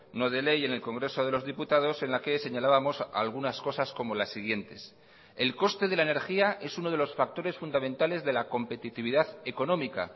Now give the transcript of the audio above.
no de ley en el congreso de los diputados en la que señalábamos algunas cosas como las siguientes el coste de la energía es uno de los factores fundamentales de la competitividad económica